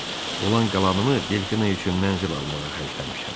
Olan qalanımı Delfinə üçün mənzil almağa xərcləmişəm.